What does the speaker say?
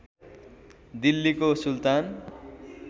दिल्लीको सुल्तान